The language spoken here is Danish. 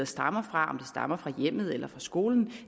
stammer fra hjemmet eller fra skolen